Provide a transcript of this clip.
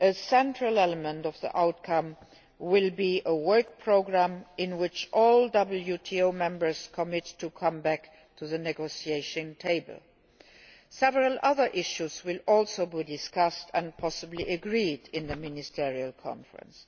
A central element of the outcome will be a work programme in which all WTO Members commit to returning to the negotiating table. Several other issues will also be discussed and possibly agreed at the Ministerial Conference.